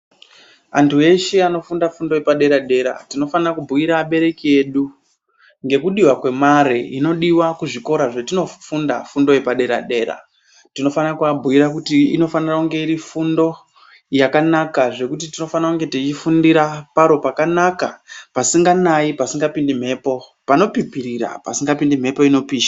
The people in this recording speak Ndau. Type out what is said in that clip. Antu eshe anofunda fundo yepadera-dera tinofana kubhuira abereki edu ngekudiwa kwemare inodiwa kuzvikora zvetinofunda fundo yepadera-dera. Tinofana kubhuira kuti inofanira kunge iri fundo yakanaka zvekuti tinofana kunge teifundira paro pakanaka pasinganai, pasingapindi mhepo , panopipirira pasingapindi mhepo inopisha.